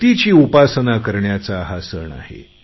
शक्तीची उपासना करण्याचा हा सण आहे